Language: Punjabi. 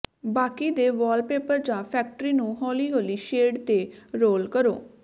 ਬਾਕੀ ਦੇ ਵਾਲਪੇਪਰ ਜਾਂ ਫੈਕਟਰੀ ਨੂੰ ਹੌਲੀ ਹੌਲੀ ਸ਼ੇਡ ਤੇ ਰੋਲ ਕਰੋ